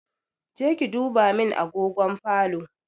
Je ki duba min agogon falo.